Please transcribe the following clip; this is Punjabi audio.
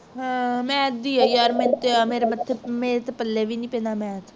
ਹਾਂ math ਦੀ ਹੈ ਯਾਰ ਮੈਨੂੰ ਤੇ ਯਾ ਮੇਰੇ ਤੇ ਮਥ ਮੇਰੇ ਤੇ ਪੱਲੇ ਵੀ ਨਹੀਂ ਪੈਂਦਾ math